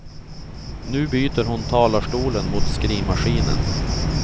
Nu byter hon talarstolen mot skrivmaskinen.